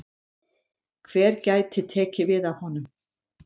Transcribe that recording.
Hver gæti tekið við af honum?